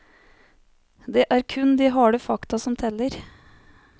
Det er kun de harde fakta som teller.